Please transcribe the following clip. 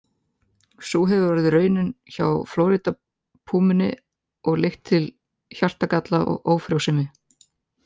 Sú hefur orðið raunin hjá Flórída-púmunni og leitt til hjartagalla og ófrjósemi.